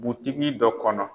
Butigi dɔ kɔnɔ.